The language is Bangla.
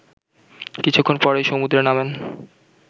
কিছুক্ষণ পরেই সমুদ্রে নামেন